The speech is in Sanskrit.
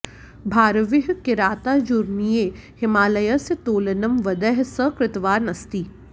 भारविः किरातार्जुनीये हिमालयस्य तोलनं वेदैः सह कृतवान् अस्ति